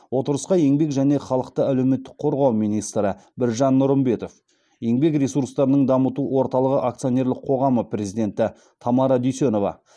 отырысқа еңбек және халықты әлеуметтік қорғау министрі біржан нұрымбетов еңбек ресурстарының дамыту орталығы акционерлік қоғамы президенті тамара дүйсенова